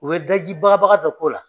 U be daji bagabaga dɔ k'o la.